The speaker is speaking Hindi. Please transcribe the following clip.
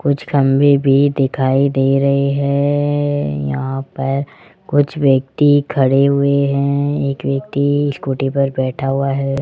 कुछ खंभे भी दिखाई दे रहे हैं यहां पर कुछ व्यक्ति खड़े हुए हैं एक व्यक्ति स्कूटी पर बैठा हुआ है।